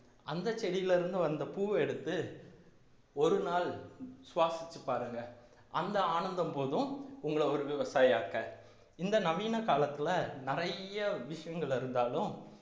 அந்தச் செடியிலே இருந்து வந்த பூவை எடுத்து ஒரு நாள் சுவாசித்து பாருங்க அந்த ஆனந்தம் போதும் உங்களை ஒரு விவசாயி ஆக்க இந்த நவீன காலத்துல நிறைய விஷயங்கள் இருந்தாலும்